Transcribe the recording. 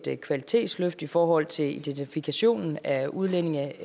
et kvalitetsløft i forhold til identifikation af udlændinge